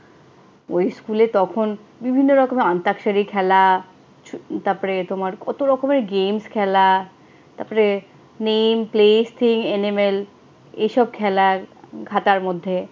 ওই স্কুলে তখন বিভিন্ন রকমের আন্তাখসারি খেলা, তারপরে তোমার কত রকমের games খেলা, তারপরে name place thing animal এইসব খেলার খাতার মধ্যে